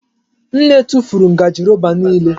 Nne tụfuru ngaji roba niile.